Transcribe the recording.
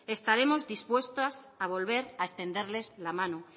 estaremos dispuestas a volver a extenderles la mano